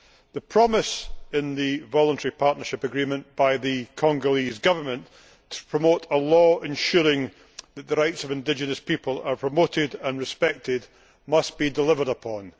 The promise in the Voluntary Partnership Agreement by the Congolese Government to promote a law ensuring that the rights of indigenous people are promoted and respected must be delivered upon.